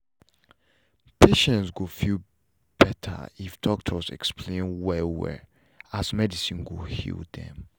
patients go feel better if doctors explain well well as medicine go heal them